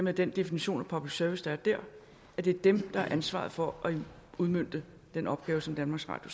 af den definition af public service der er der at det er dem der har ansvaret for at udmønte den opgave som danmarks radio